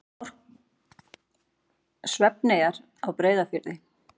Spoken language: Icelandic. Svefneyjar á Breiðafirði.